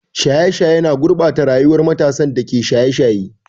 Shaye-shaye na gurɓata rayuwar matasan da ke shaye-shaye.